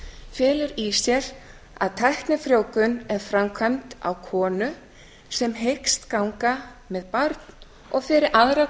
felur í sér að tæknifrjóvgun er framkvæmd á konu sem hyggst ganga með barn og fyrir aðra